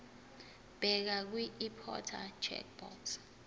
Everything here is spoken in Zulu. bheka kwiimporter checkbox